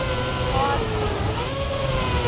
hard science fiction